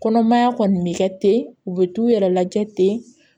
Kɔnɔmaya kɔni bɛ kɛ ten u bɛ t'u yɛrɛ lajɛ ten